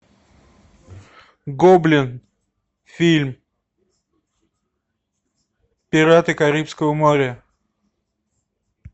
гоблин фильм пираты карибского моря